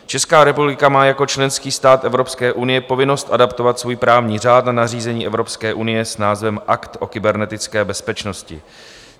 Česká republika má jako členský stát Evropské unie povinnost adaptovat svůj právní řád dle nařízení Evropské unie s názvem Akt o kybernetické bezpečnosti.